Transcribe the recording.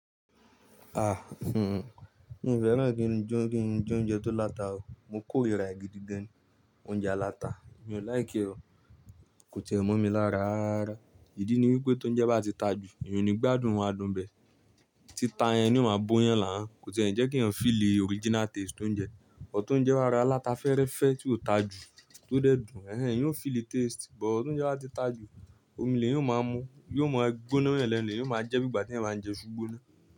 Mi ò fẹ́ràn kí ń jó, kí ń jẹ oúnjẹ tó láta o. Mo kó rìrà ègídí dán, oúnjẹ aláta mi ò láìkè o. Kò tiẹ mo mi lára rara. Ìdí ni wípé tó ń jẹ bá ti ta jù, èèyàn ò ní gbádùn adùn bẹ̀. Tí ta yẹn ni ó máa bó yẹn là hań, kò tiẹ́ ẹ̀ńi jẹ́ kí èèyàn feel original taste tó ń jẹ. But ti ouńjẹ bá rárá láta fẹ́ẹ́rẹ́fẹ́ tí ò ta jù tó dẹ̀ dùn. Yóò feel the taste, but tó ń jẹ bá ti ta jù, omi lè yóò máa mú, yóò mọ gbóná ma yẹn lẹ́nu, le eyan máa jẹ́ bí igbà tí ẹyan báa ń jẹ iṣu gbona náà.